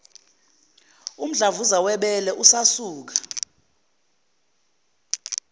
umdlavuza webele usasuka